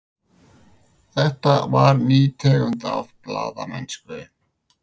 Þetta var ný tegund af blaðamennsku.